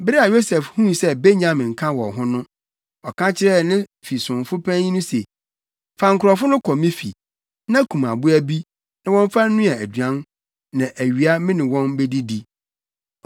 Bere a Yosef huu sɛ Benyamin ka wɔn ho no, ɔka kyerɛɛ ne fi somfo panyin no se, “Fa nkurɔfo no kɔ me fi, na kum aboa bi, na wɔmfa nnoa aduan, na awia me ne wɔn bedidi.”